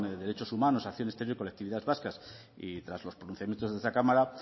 derechos humanos acción exterior y colectividades vascas y tras los pronunciamientos de esta cámara